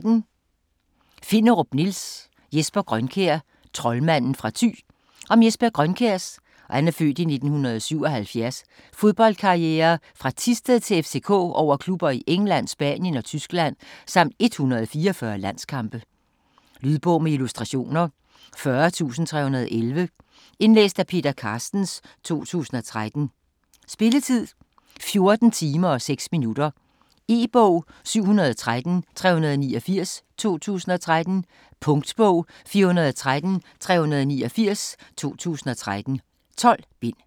Finderup, Nils: Jesper Grønkjær: troldmanden fra Thy Om Jesper Grønkjærs (f. 1977) fodboldkarriere fra Thisted til FCK over klubber i England, Spanien og Tyskland samt 144 landskampe. Lydbog med illustrationer 40311 Indlæst af Peter Carstens, 2013. Spilletid: 14 timer, 6 minutter. E-bog 713389 2013. Punktbog 413389 2013. 12 bind.